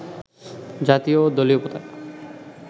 জাতীয় ও দলীয় পতাকা